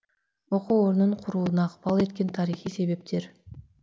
оку орнын құруына ықпал еткен тарихи себептер